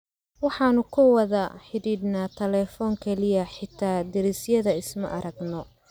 Waxaanu ku wada xidhiidhnaa telefoon kaliya xataa derisyada isma aragno.